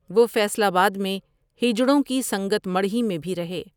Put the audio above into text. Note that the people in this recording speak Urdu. وہ فیصل آباد میں ہینجڑوں کی سنگت مٹرھی میں بھی رہے ۔